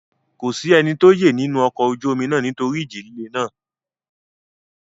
Kò sí ẹnikẹ́ni tó yè nínú ọkọ ojú omi náà nítorí ìjì líle náà.